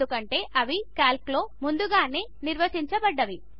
ఎందుకంటే అవి క్యాల్క్లో ముందుగానే నిర్వచించబడినవి